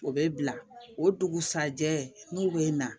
O bɛ bila o dugusajɛ n'u bɛ na